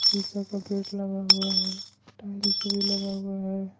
शीशा का गेट लगा हुआ है कुछ टाइल्स में लगा हुआ है।